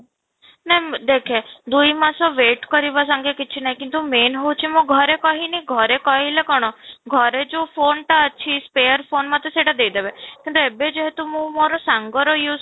ନା ଦେଖେ ଦୁଇ ମାସ wait କରିବା କିଛି ନାଇଁ କିନ୍ତୁ main ହଉଛି ମୁଁ ଘରେ କହି ନି ଘରେ ଘରେ କହିଲେ କଣ ଘରେ ଯୋଉ phone ଟା ଅଛି repair phone ମୋତେ ସେଇଟା ଦେଇ ଦେବେ, କିନ୍ତୁ ଏବେ ଯେହେତୁ ମୁଁ ମୋର ସାଙ୍ଗର use